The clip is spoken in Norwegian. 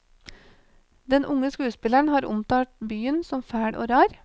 Den unge skuespilleren har omtalt byen som fæl og rar.